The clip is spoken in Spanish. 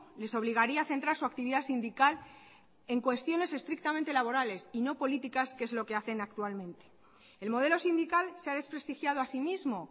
les obligaría a centrar su actividad sindical en cuestiones estrictamente laborales y no políticas que es lo que hacen actualmente el modelo sindical se ha desprestigiado a sí mismo